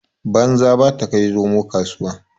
Banza ba ta kai zomo kasuwa.